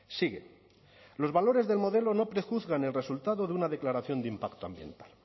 sigue los valores del modelo no prejuzgan el resultado de una declaración de impacto ambiental